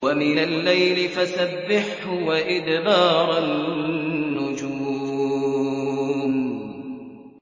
وَمِنَ اللَّيْلِ فَسَبِّحْهُ وَإِدْبَارَ النُّجُومِ